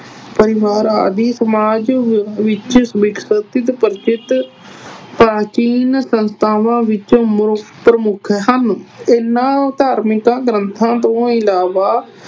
ਪਰਿਵਾਰ ਆਦਿ ਸਮਾਜ ਵਿੱਚ ਵਿਕਸਿਤ, ਪ੍ਰਚਲਿਤ ਪ੍ਰਾਚੀਨ ਸੰਸਥਾਵਾਂ ਵਿੱਚੋਂ ਪ੍ਰਮੁੱਖ ਹਨ ਇਹਨਾਂ ਧਾਰਮਿਕਾਂ ਗ੍ਰੰਥਾਂ ਤੋਂ ਇਲਾਵਾ